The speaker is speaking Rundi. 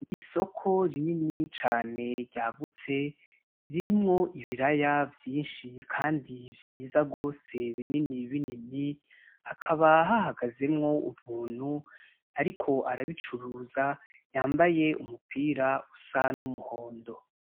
Isoko rinini cane ryagutse ririmwo ibiraya vyinshi kandi vyiza gose binini binini, hakaba hahagazemwo umuntu ariko arabicuruza, yambaye umupira usa n'umuhondo.